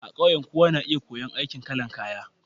A ƙauye, kowa na iya koyon aikin kalan kaya.